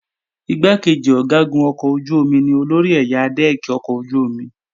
Igbákejì Ọ̀gágun ọkọ̀ ojú-omi ni olórí ẹ̀yà dẹ́ẹ̀kì ọkọ̀ ojú-omi